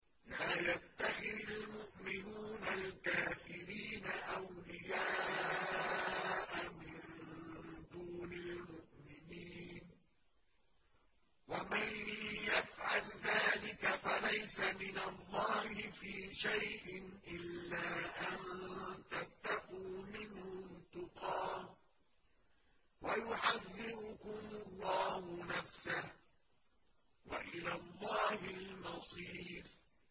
لَّا يَتَّخِذِ الْمُؤْمِنُونَ الْكَافِرِينَ أَوْلِيَاءَ مِن دُونِ الْمُؤْمِنِينَ ۖ وَمَن يَفْعَلْ ذَٰلِكَ فَلَيْسَ مِنَ اللَّهِ فِي شَيْءٍ إِلَّا أَن تَتَّقُوا مِنْهُمْ تُقَاةً ۗ وَيُحَذِّرُكُمُ اللَّهُ نَفْسَهُ ۗ وَإِلَى اللَّهِ الْمَصِيرُ